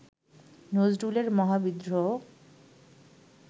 নজরুলের মহাবিদ্রোহ